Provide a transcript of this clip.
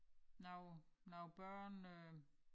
Nogle nogle børn øh